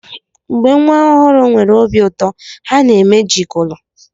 Mgbe nwa ọhụrụ nwere obi ụtọ, ha na-eme gigulu.